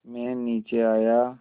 मैं नीचे आया